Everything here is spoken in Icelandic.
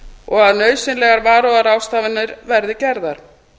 og að nauðsynlegar varúðarráðstafanir verði gerðar